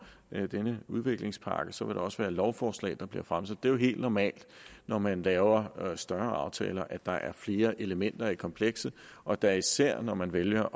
denne udviklingspakke så vil der også være lovforslag der bliver fremsat det er jo helt normalt når man laver større aftaler at der er flere elementer i komplekset og da især når man vælger